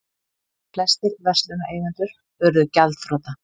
Flestir verslunareigendur urðu gjaldþrota.